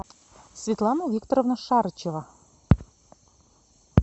светлана викторовна шарычева